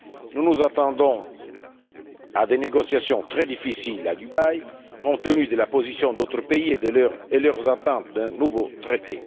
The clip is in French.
Nous nous attendons à des négociations très difficiles à Dubaï compte tenu de la position d'autres pays et de leurs attentes d'un nouveau traité.